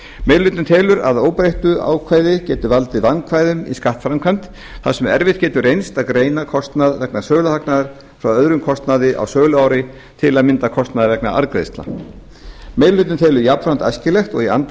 meiri hlutinn telur að óbreyttu að ákvæðið geti valdið vandkvæðum í skattframkvæmd þar sem erfitt getur reynst að greina kostnað vegna söluhagnaðar frá öðrum kostnaði á söluári til að mynda kostnað vegna arðgreiðslna meiri hlutinn telur jafnframt æskilegt og í anda